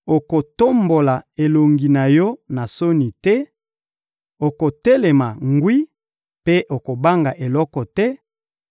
okotombola elongi na yo na soni te, okotelema ngwi mpe okobanga eloko te;